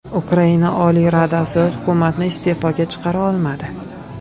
Ukraina Oliy Radasi hukumatni iste’foga chiqara olmadi .